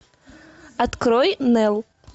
открой нел